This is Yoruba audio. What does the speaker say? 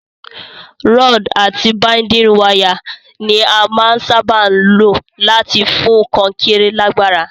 Rod àti binding wire ni a màa n sábà lo láti fún kankéré lágbára